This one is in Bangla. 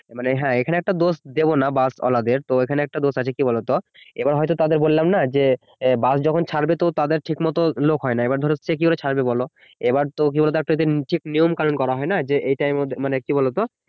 মানে হ্যাঁ এইখানে একটা দোষ দেবোনা বাস ওয়ালাদের তো এইখানে একটা দোষ আছে কি বলতো এইবার হয়তো তাদের বললাম না যে বাস যখন ছাড়বে তো তাদের ঠিক মতন লোক হয়না এইবার ধরো সে কি ভাবে ছাড়বে বলো এইবার কি বলতো তো একটা ঠিক নিয়ম কানন করা হয়না যে এইটা মানে কি বলতো